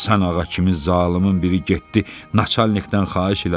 Həsən ağa kimi zalımın biri getdi, načalnikdən xahiş elədi.